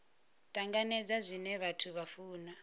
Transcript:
tanganedza zwine vhathu vha funa